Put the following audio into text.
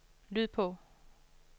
lyd på